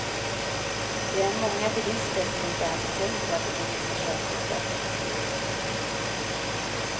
Det är många bilister som inte ens har tänkt på att de kan mista körkortet. punkt